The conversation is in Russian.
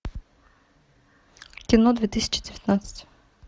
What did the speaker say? кино две тысячи девятнадцать